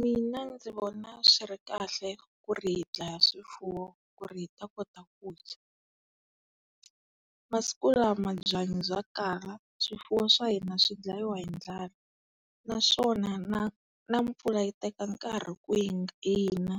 Mina ndzi vona swi ri kahle ku ri hi dlaya swifuwo ku ri hi ta kota ku dya. Masiku lama byanyi bya kala, swifuwo swa hina swi dlayiwa hi ndlala. Naswona na na mpfula yi teka nkarhi ku yi na,